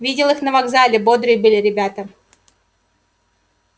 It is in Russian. видел их на вокзале бодрые были ребята